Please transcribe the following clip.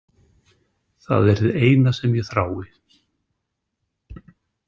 Það er hið eina sem ég þrái.